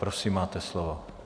Prosím, máte slovo.